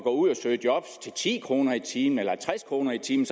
ud at søge job til ti kroner i timen eller halvtreds kroner i timen